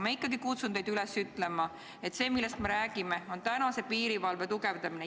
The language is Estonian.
Ma ikkagi kutsun teid üles ütlema, et see, millest me räägime, on piirivalve tugevdamine.